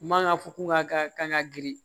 Man ka fɔ ko ŋa ka kan ka girin